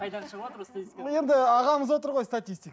қайдан шығыватыр ол статистика енді ағамыз отыр ғой статистик